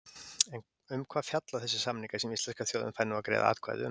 En um hvað fjalla þessir samningar sem íslenska þjóðin fær nú að greiða atkvæði um?